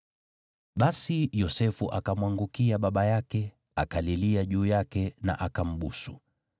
Basi Yosefu akamwangukia baba yake, akalilia juu yake na akambusu.